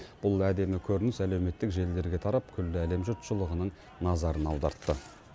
бұл әдемі көрініс әлеуметтік желілерге тарап күллі әлем жұртшылығының назарын аудартты